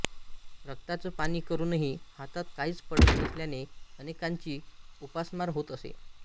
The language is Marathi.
रक्ताचं पाणी करूनही हातात काहीच पडत नसल्याने अनेकांची उपासमार होत असे